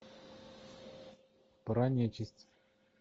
про нечисть